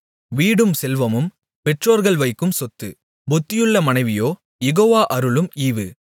வீடும் செல்வமும் பெற்றோர்கள் வைக்கும் சொத்து புத்தியுள்ள மனைவியோ யெகோவா அருளும் ஈவு